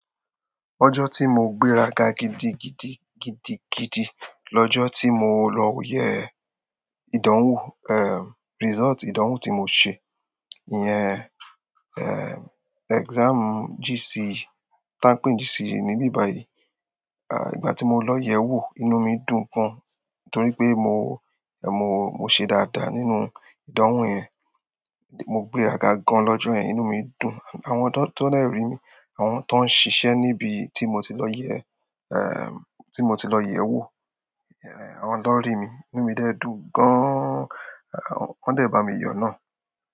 Ọjọ́ tí mo gbéra ga gidigidi gidigidi, lọ́jọ́ tí mo lọ yẹ ìdánwò, result ìdánwò tí mo ṣe. Iyẹn, exam GCE, ta ń pè GCE níbí báyìí. Ahh, ìgbà tí mo lọ yẹ̀wò inú mi gan, torí pé mo ṣe dáadáa nínú ìdánwò yẹn, mo gbéraga gan ni ọjọ́ yẹn. Àwọn tón dè rí mi, àwọn tó ń ṣiṣẹ́ níbi tí mo ti lọ yẹ, tí mo ti lọ yẹ wo, àwọn lọn rí mi, inú mi dẹ dùn gaaan. Wọ́n dẹ̀ bá mi yọ náà.